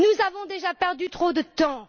Nous avons déjà perdu trop de temps.